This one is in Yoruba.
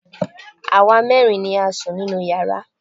Àwa mẹ́rin ni à ń sun inú yàrá